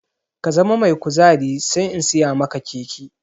Ka zama mai kuzari sai in siya maka keke!